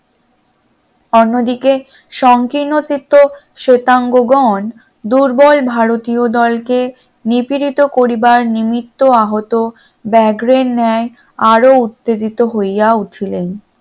অন্যদিকে সংকীর্ণ চিত্ত শ্বেতাঙ্গবান দুর্বল ভারতীয় দলকে নিপীড়িত করিবার নির্মিত আহত ব্যাঘ্রর ন্যায় আরো উত্তেজিত হইয়া উঠিলেন।